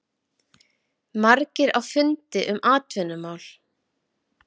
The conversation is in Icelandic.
Margir á fundi um atvinnumál